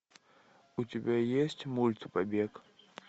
у тебя есть мульт побег